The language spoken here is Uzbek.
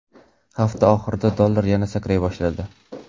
Hafta oxirida dollar yana sakray boshladi .